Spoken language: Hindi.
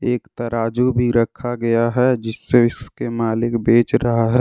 एक तराजू भी रखा गया है जिससे इसके मालिक बेच रहा है।